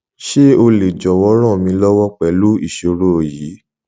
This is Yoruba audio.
ṣe o le jọwọ ran mi lọwọ pẹlu iṣoro yii